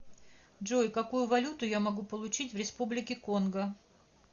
джой какую валюту я могу получить в республике конго